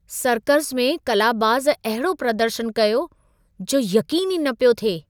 Circus में कलाबाज़ अहिड़ो प्रदर्शनु कयो, जो यक़ीन ई न पियो थिए!